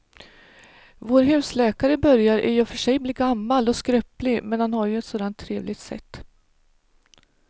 Vår husläkare börjar i och för sig bli gammal och skröplig, men han har ju ett sådant trevligt sätt!